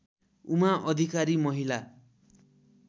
उमा अधिकारी महिला